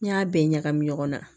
N'i y'a bɛɛ ɲagami ɲɔgɔn na